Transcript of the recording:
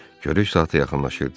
Görüş saatı yaxınlaşırdı.